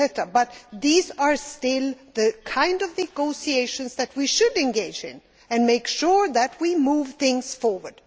but these are still the kind of negotiations that we should engage in and make sure that we move things forward.